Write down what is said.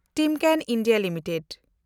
Timken India limited